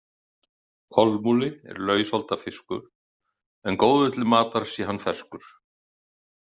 Kolmúli er lausholda fiskur, en góður til matar sé hann ferskur.